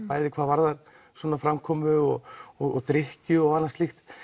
bæði hvað varðar svona framkomu og og drykkju og annað slíkt